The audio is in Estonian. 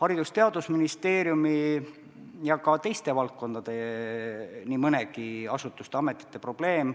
Haridus- ja Teadusministeeriumi ja ka teiste valdkondade nii mõnegi asutuse ja ameti probleem